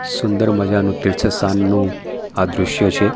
સુંદર મજાનું તીર્થ સ્થાનનું આ દ્રશ્ય છે.